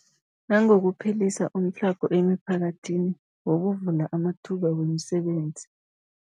Nangokuphelisa umtlhago emiphakathini ngokuvula amathuba wemisebenzi.